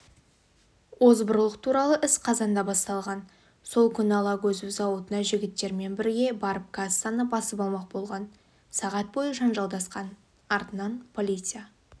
озбырлық туралы іс қазанда басталған сол күні алагөзов зауытына жігіттермен бірге барып кассаны басып алмақ болған сағат бойы жанжалдасқан артынан полиция